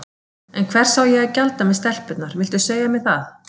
En hvers á ég að gjalda með stelpurnar, viltu segja mér það?